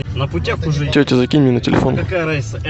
тетя закинь мне на телефон